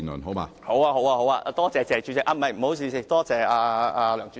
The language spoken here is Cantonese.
好的，多謝"謝主席"，不好意思，多謝梁主席。